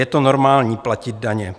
Je to normální, platit daně.